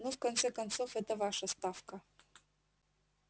ну в конце концов эта ваша ставка